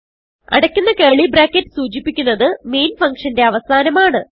അടയ്ക്കുന്ന curly bracket സൂചിപ്പിക്കുന്നത് main ഫങ്ഷന്റെ അവസാനമാണ്